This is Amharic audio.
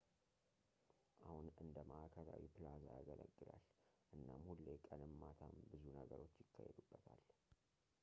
አሁን እንደ መዓከላዊ ፕላዛ ያገለግላል እናም ሁሌ ቀንም ማታም ብዙ ነገሮች ይካሄዱበታል